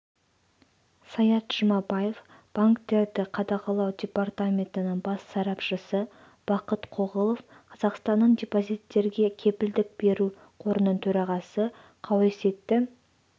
саят жұмабаев банктерді қадағалау департаментінің бас сарапшысы бақыт қоғылов қазақстанның депозиттерге кепілдік беру қорының төрағасы қауесетті